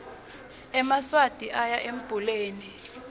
emaswati oya embuleni